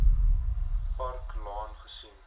park laan gesien